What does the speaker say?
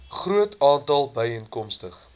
groot aantal byeenkomste